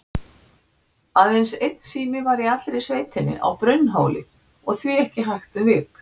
Aðeins einn sími var í allri sveitinni, á Brunnhóli, og því ekki hægt um vik.